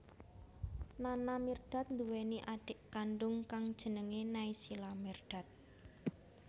Nana Mirdad nduwèni adhik kandung kang jenengé Naysila Mirdad